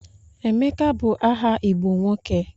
Emeka bụ aha Igbo nwoke.